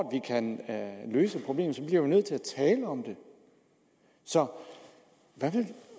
kan løse problemet bliver vi nødt til at tale om det så hvad vil